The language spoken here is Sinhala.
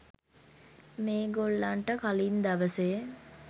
මේ ගොල්ලන්ට කලින් දවසේ